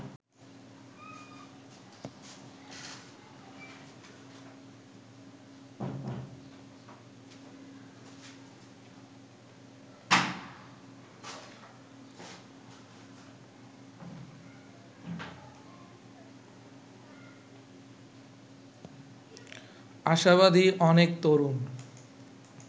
আশাবাদী অনেক তরুণ